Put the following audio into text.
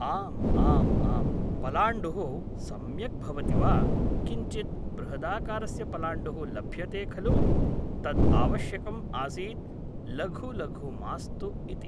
आम् आम् आम् पलाण्डुः सम्यक् भवति वा किञ्चिद् बृहदाकारस्य पलाण्डुः लभ्यते खलु तद् आवश्यकम् आसीत् लघु लघु मास्तु इति